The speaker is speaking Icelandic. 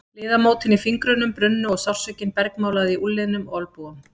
Liðamótin í fingrunum brunnu og sársaukinn bergmálaði í úlnliðum og olnbogum.